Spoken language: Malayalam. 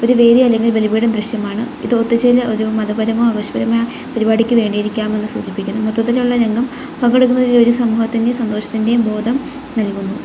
ഒരു വേദി അല്ലെങ്കിൽ ബലിപീഠം ദൃശ്യമാണ് ഇത് ഒത്തുചേരൽ ഒരു മതപരമോ പരിപാടിക്ക് വേണ്ടിയായിരിക്കാം എന്ന് സൂചിപ്പിക്കുന്നു മൊത്തത്തിലുള്ള രംഗം പങ്കെടുക്കുന്ന സമൂഹത്തിൻ്റെയും സന്തോഷത്തിൻ്റെയും ബോധം നൽകുന്നു.